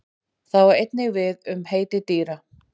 Það á einnig við við um heiti dýra.